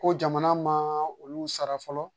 Ko jamana ma olu sara fɔlɔ